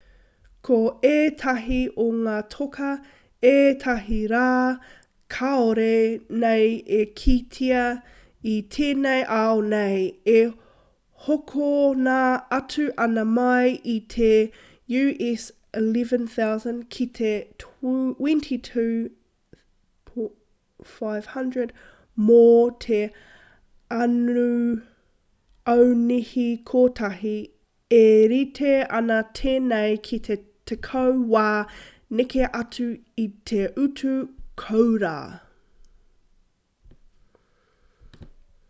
ko ētahi o ngā toka ētahi rā kāore nei e kitea i tēnei ao nei e hokona atu ana mai i te us11,000 ki te $22,500 mō te aunihi kotahi e rite ana tēnei ki te tekau wā neke atu i te utu kōura